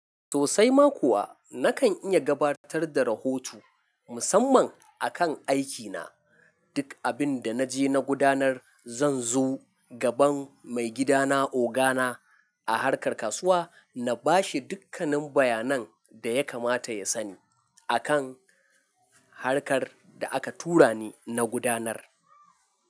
Sosai ma kuwa nakan iya gabatar da rahoto musamman akan aikina. Duk abin da na je na gudanar zan zo gaban maigidana ogana a harkar kasuwa na bashi dukkanin bayanan da ya kamata ya sani akan harkar da aka tura ni na gudanar.